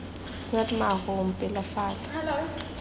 is not my home pelafalo